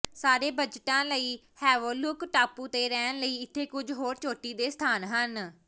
ਸਾਰੇ ਬਜਟਾਂ ਲਈ ਹੈਵੋਲੌਕ ਟਾਪੂ ਤੇ ਰਹਿਣ ਲਈ ਇੱਥੇ ਕੁਝ ਹੋਰ ਚੋਟੀ ਦੇ ਸਥਾਨ ਹਨ